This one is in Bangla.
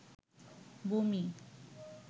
বমি